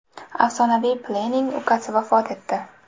Afsonaviy Pelening ukasi vafot etdi.